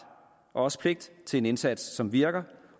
og også pligt til en indsats som virker